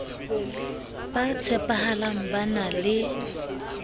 ba tshepahalang ba na le